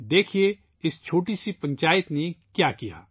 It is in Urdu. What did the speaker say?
دیکھیئے ، اس چھوٹی سی پنچایت نے کیا کیا